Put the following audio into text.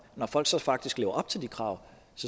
når folk så faktisk lever op til de krav